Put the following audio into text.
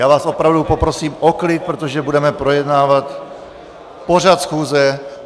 Já vás opravdu poprosím o klid, protože budeme projednávat pořad schůze.